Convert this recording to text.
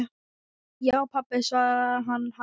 Já, pabba, svaraði hann hægt.